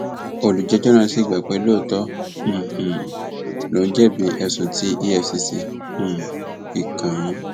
olùjẹjọ náà sì gbà pé lóòótọ um lòún jẹbi ẹsùn tí efcc um fi kàn án